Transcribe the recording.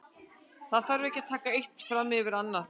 Það þarf ekki að taka eitt fram yfir annað.